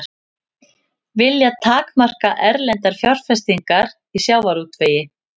Vilja takmarka erlendar fjárfestingar í sjávarútvegi